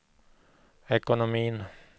ekonomin